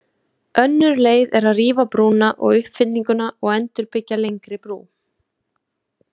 Önnur leið er að rífa brúna og uppfyllinguna og endurbyggja lengri brú.